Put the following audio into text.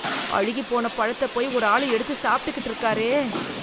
அழுகிப் போன பழத்த போய் ஒரு ஆளு எடுத்து சாப்பிட்டுக்கிட்டு இருக்காரே.